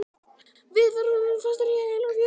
Við verðum fastir hér heila fjöru.